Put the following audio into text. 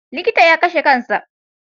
Likitan ya kashe kan sa.